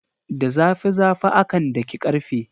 Da zafi zafi akan daki karfe.